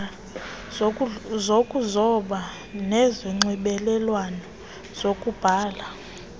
zokuzoba nezonxibelelwano lokubhala